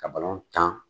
Ka balon tan